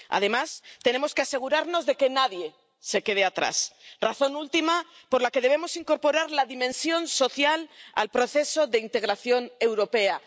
Además, tenemos que asegurarnos de que nadie se quede atrás, razón última por la que debemos incorporar la dimensión social al proceso de integración europea.